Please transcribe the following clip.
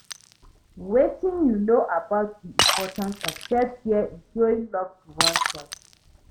wetin you know about di importance of self-care in showing love to oneself?